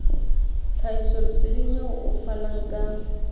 tlhahisoleseding eo o fanang ka